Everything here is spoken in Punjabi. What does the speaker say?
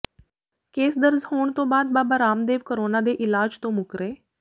ਕੇਸ ਦਰਜ਼ ਹੋਣ ਤੋਂ ਬਾਅਦ ਬਾਬਾ ਰਾਮਦੇਵ ਕਰੋਨਾ ਦੇ ਇਲਾਜ ਤੋਂ ਮੁੱਕਰੇ